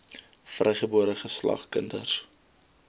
vrygebore geslag kinders